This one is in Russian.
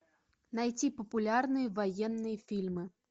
найти популярные военные фильмы